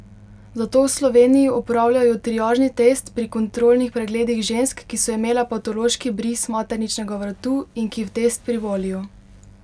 Zato v Sloveniji opravljajo triažni test pri kontrolnih pregledih žensk, ki so imele patološki bris materničnega vratu in ki v test privolijo.